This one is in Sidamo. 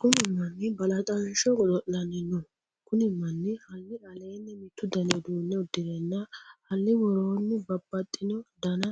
Kunni manni balaxansho godo'lanni no. Kunni manni Hali aleenni mitu danni uduune udirenna Hali woroonni babbaxino danna